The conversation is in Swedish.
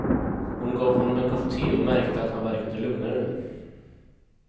Hon gav honom en kopp te och märkte att han verkade lugnare nu.